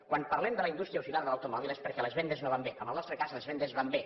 quan parlem de la indústria auxiliar de l’automòbil és perquè les vendes no van bé en el nostre cas les vendes van bé